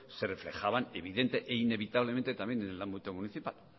se reflejaban evidente e inevitablemente también en el ámbito municipal